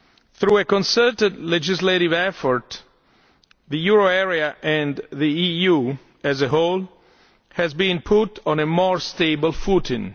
Through a concerted legislative effort the euro area, and the EU as a whole, has been put on a more stable footing.